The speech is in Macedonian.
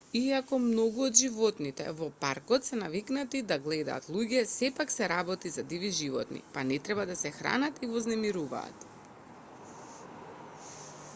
иако многу од животните во паркот се навикнати да гледаат луѓе сепак се работи за диви животни па не треба да се хранат и вознемируваат